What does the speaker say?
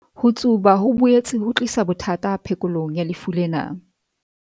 Ho tsuba ho boetse ho tlisa bothata phekolong ya lefu lena.